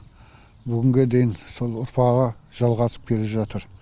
бүгінге дейін сол ұрпағы жалғасып келе жатыр